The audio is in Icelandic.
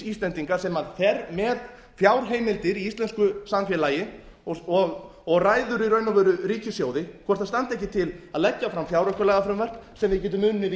íslendinga sem fer með fjárheimildir í íslensku samfélagi og ræður í raun og veru ríkissjóði hvort það standi ekki til að leggja fram fjáraukalagafrumvarp sem við getum unnið